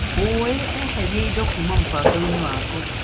Olĩ eheria indo kuma mũbango-inĩ wakwa .